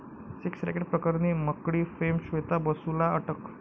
sex racket' प्रकरणी 'Makdee' fame Shweta बसूला अटक